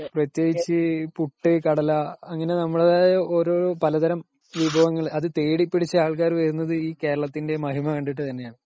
പ്രത്യേകിച്ച് പുട്ടു കടല .അങ്ങനെ നമ്മുടേതായ ഓരോരോ, പലതരം അത് തേടി പിടിച്ചു ആള്ക്കാര് വരുന്നത് ഈ കേരളത്തിന്റെ മഹിമ കണ്ടിട്ട് തന്നെ ആണ് .